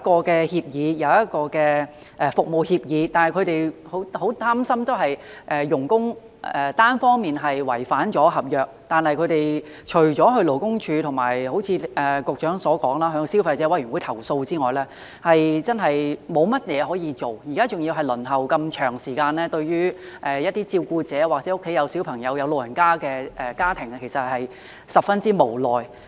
雖然有一份服務協議，但僱主仍十分擔心，如外傭單方面違反合約，他們除了向勞工處，以及——正如局長所說——向消費者委員會投訴之外，真的沒有甚麼可以做——現在還要輪候那麼長的時間——對於一些照顧者，或者家中有小朋友、有長者的家庭來說，其實真的十分無奈。